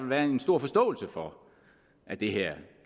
være en stor forståelse for at det her